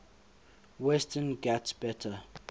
western ghats better